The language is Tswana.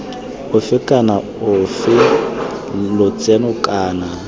ofe kana ofe lotseno kana